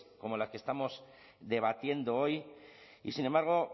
como la que estamos debatiendo hoy y sin embargo